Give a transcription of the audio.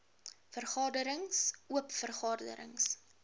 vergaderings oop vergaderings